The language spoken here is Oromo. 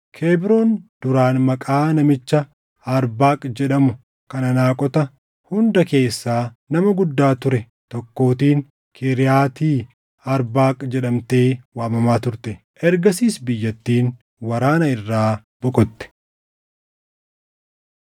Kebroon duraan maqaa namicha Arbaaq jedhamu kan Anaaqota hunda keessaa nama guddaa ture tokkootiin Kiriyaati Arbaaq jedhamtee waamamaa turte. Ergasiis biyyattiin waraana irraa boqotte.